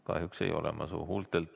Kahjuks ei saa ...